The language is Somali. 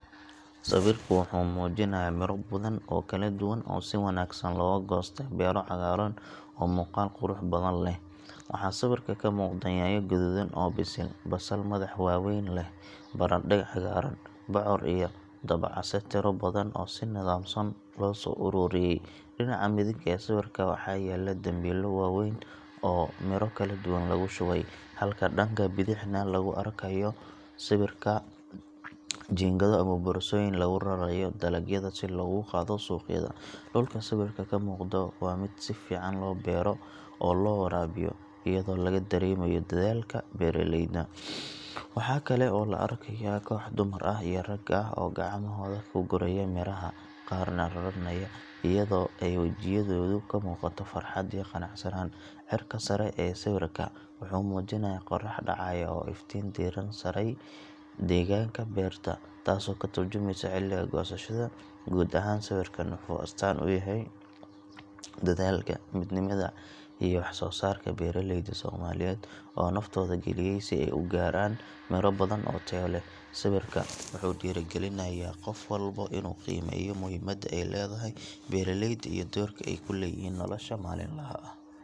Sawirka wuxuu muujinayaa miro badan oo kala duwan oo si wanaagsan looga goostay beero cagaaran oo muuqaal qurux badan leh. Waxaa sawirka ka muuqda yaanyo guduudan oo bisil, basal madax waaweyn leh, barandhe cagaaran, bocor iyo dabocase tiro badan oo si nidaamsan loo soo ururiyey. Dhinaca midig ee sawirka waxaa yaal dambiilo waaweyn oo miro kala duwan lagu shubay, halka dhanka bidixna lagu arkayo jiingado ama boorsooyin lagu raranayo dalagyada si loogu qaado suuqyada. Dhulka sawirka ka muuqda waa mid si fiican loo beero oo loo waraabiyo, iyadoo laga dareemayo dadaalka beeraleyda. Waxaa kale oo la arkayaa koox dumar ah iyo rag ah oo gacmahooda ku guraya miraha, qaarna raranaya, iyadoo ay wejiyadooda ka muuqato farxad iyo qanacsanaan. Cirka sare ee sawirka wuxuu muujinayaa qorrax dhacaya oo iftiin diiran saaray deegaanka beerta, taasoo ka tarjumaysa xilliga goosashada. Guud ahaan sawirkan wuxuu astaan u yahay dadaalka, midnimada iyo wax soo saarka beeraleyda Soomaaliyeed oo naftooda geliyey si ay u gaaraan miro badan oo tayo leh. Sawirka wuxuu dhiirrigelinayaa qof walba inuu qiimeeyo muhiimadda ay leedahay beeralayda iyo doorka ay ku leeyihiin nolosha maalinlaha ah.